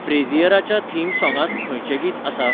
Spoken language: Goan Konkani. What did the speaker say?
फ्रेझियराच्या थीम सोंगांत खंयचें गीत आसा?